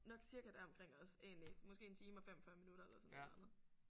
Nok cirka deromkring også egentlig måske en time og 45 minutter eller sådan et eller andet